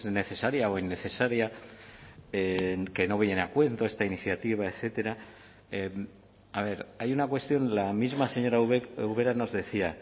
necesaria o innecesaria que no viene a cuento esta iniciativa etcétera a ver hay una cuestión la misma señora ubera nos decía